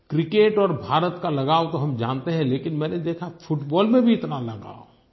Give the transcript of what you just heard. cricket और भारत का लगाव तो हम जानते हैं लेकिन मैंने देखा फुटबॉल में भी इतना लगाव